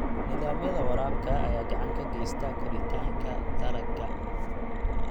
Nidaamyada waraabka ayaa gacan ka geysta koritaanka dalagga.